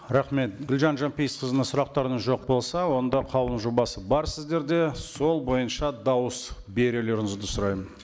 рахмет гүлжан жанпейісқызына сұрақтарыңыз жоқ болса онда қаулының жобасы бар сіздерде сол бойынша дауыс берулеріңізді сұраймын